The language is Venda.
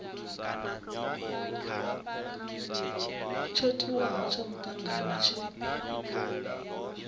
tsho tiwaho tsha mutangano tshi